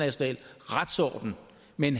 men